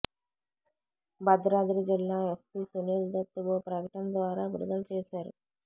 భద్రాద్రి జిల్లా ఎస్పీ సునీల్ దత్ ఓ ప్రకటన ద్వారా విడుదల చేశారు